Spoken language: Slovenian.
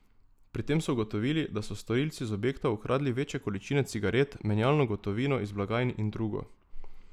Pri tem so ugotovili, da so storilci iz objektov ukradli večje količine cigaret, menjalno gotovino iz blagajn in drugo.